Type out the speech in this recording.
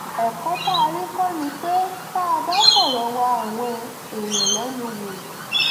ẹ̀kọ́ tá a rí kọ́ ni pé tá a bá ń fọ̀rọ̀ wá àwọn èèyàn lẹ́nu wò